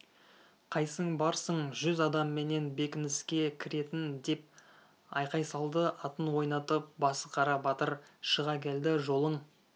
қайсың барсың жүз адамменен бекініске кіретін деп айқай салды атын ойнатып басықара батыр шыға келді жолың